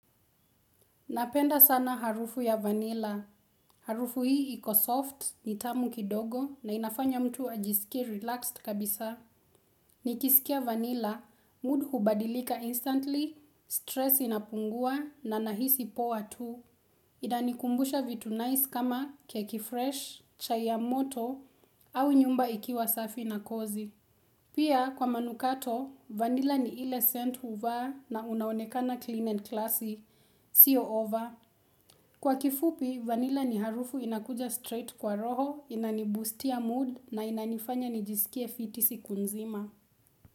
Napenda sana harufu ya vanilla. Harufu hii iko soft, nitamu kidogo na inafanya mtu ajisikie relaxed kabisa. Nikisikia vanilla, mood hubadilika instantly, stress inapungua na nahisi poa tu. Inanikumbusha vitu nice kama keki fresh, chai ya moto, au nyumba ikiwa safi na kozi. Pia kwa manukato, vanilla ni ile scent huvaa na unaonekana clean and classy, siyo over. Kwa kifupi, vanilla ni harufu inakuja straight kwa roho, inaniboostia mood na inanifanya nijisikie fiti siku nzima.